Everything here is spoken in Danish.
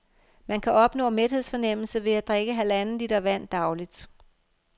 Man kan opnå mæthedsfornemmelse ved at drikke halvanden liter vand dagligt.